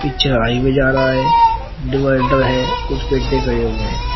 पीछे हाइवै जा रहा है डिवाइडर है कुछ पेडडे खड़े हुए हैं।